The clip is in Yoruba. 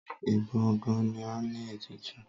Ẹbọ gan-an ni ètùtù.